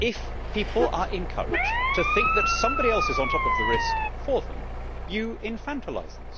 If people are encouraged to think that somebody else is on top of the risk for them, you infantilise them.